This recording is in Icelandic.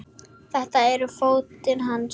Þetta eru fötin hans!